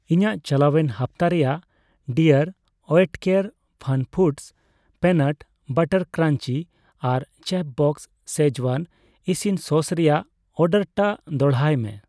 ᱤᱧᱟᱜ ᱪᱟᱞᱟᱣᱮᱱ ᱦᱟᱯᱛᱟ ᱨᱮᱭᱟᱜ ᱰᱤᱟᱨᱹ ᱳᱭᱮᱴᱠᱮᱨ ᱯᱷᱟᱱᱯᱷᱩᱰᱚᱥ ᱚᱤᱱᱟᱴ ᱵᱟᱨᱟᱴ ᱠᱨᱟᱧᱡᱤ ᱟᱨ ᱪᱮᱯᱷᱵᱚᱥᱥ ᱥᱠᱤᱡᱣᱟᱱ ᱤᱥᱤᱱ ᱥᱚᱥ ᱨᱮᱭᱟᱜ ᱚᱨᱰᱟᱨᱴᱟᱜ ᱫᱚᱲᱦᱟᱭ ᱢᱮ ᱾